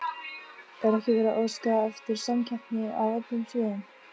Er ekki verið að óska eftir samkeppni á öllum sviðum?